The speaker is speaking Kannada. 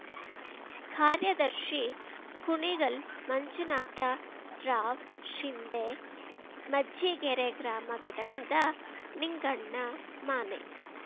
ಕಾರ್ಯದರ್ಶಿ ಕುಣಿಗಲ್‌ ಮಂಜುನಾಥ ರಾವ್‌ ಶಿಂಧೆ ಮಜ್ಜಿಗೆರೆ ಗ್ರಾಮ ಘಟಕದ ನಿಂಗಣ್ಣ ಮಾನೆ